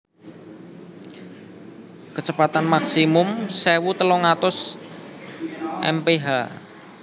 Kecepatan Maksimum sewu telung atus mph